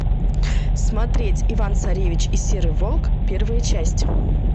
смотреть иван царевич и серый волк первая часть